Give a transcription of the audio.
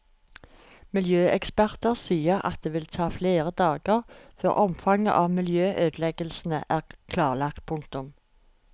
Miljøeksperter sier at det vil ta flere dager før omfanget av miljøødeleggelsene er klarlagt. punktum